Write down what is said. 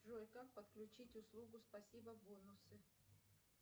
джой как подключить услугу спасибо бонусы